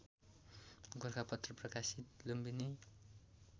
गोरखापत्र प्रकाशित लुम्बिनी